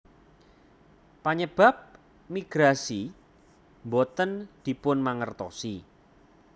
Panyebab migrasi boten dipunmangertosi